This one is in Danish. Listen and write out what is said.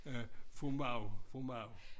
Øh Fru Mau Fru Mau